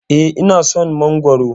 Eh, ina son Mangwaro.